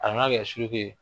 An ka kɛ suruku ye.